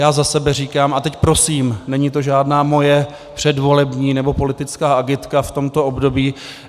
Já za sebe říkám - a teď prosím, není to žádná moje předvolební nebo politická agitka v tomto období.